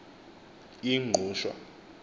ingqushwa